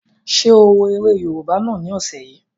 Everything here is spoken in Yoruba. Ṣé o wo eré yóòbá náà ni ọ̀sẹ̀ yìí?